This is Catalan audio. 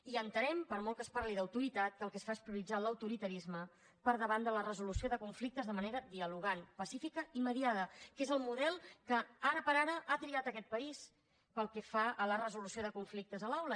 i entenem per molt que es parli d’autoritat que el que es fa és prioritzar l’autoritarisme per davant de la resolució de conflictes de manera dialogant pacífica i mediada que és el model que ara per ara ha triat aquest país pel que fa a la resolució de conflictes a l’aula